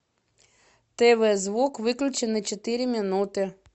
тв звук выключи на четыре минуты